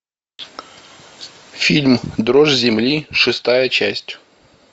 фильм дрожь земли шестая часть